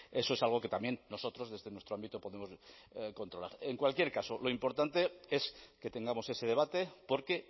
eso es algo que también nosotros desde nuestro ámbito podemos controlar en cualquier caso lo importante es que tengamos ese debate porque